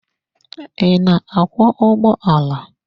Ị na-akwọ ụgbọala?